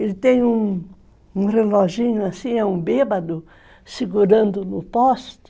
Ele tem um reloginho assim, é um bêbado, segurando no poste.